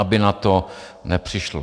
Aby na to nepřišlo.